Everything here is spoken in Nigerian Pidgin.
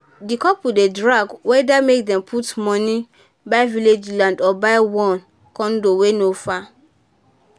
di couple dey drag whether make dem put money buy village land or buy one condo wey no far.